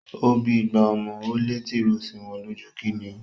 Ó bí igba ọmọ, ó lé tìròó sí wọn lójú. Kíni o?